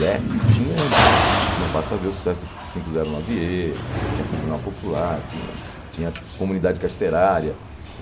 Rap tinha, não basta ver o sucesso do cinco zero nove ê, tinha Tribunal Popular, tinha tinha Comunidade Carcerária.